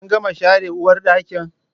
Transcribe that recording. Kin gama share uwarɗakin?